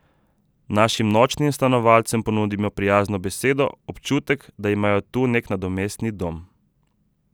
Našim nočnim stanovalcem ponudimo prijazno besedo, občutek, da imajo tu nek nadomestni dom.